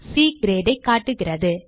C Grade ஐ காட்டும்